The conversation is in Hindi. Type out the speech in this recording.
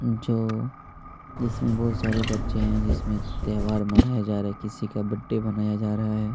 जो इसमें बहुत सारे बच्चे हैं जहाँ त्योहार बनाया जा रहा है किसी का बर्थडे मनाया जा रहा है।